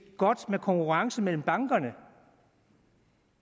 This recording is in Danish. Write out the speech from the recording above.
godt med konkurrence mellem bankerne